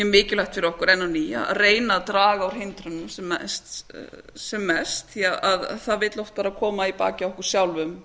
mikilvægt fyrir okkur enn á ný að reyna að draga úr hindrunum sem mest því það vill oft vera að koma í bakið á okkur sjálfum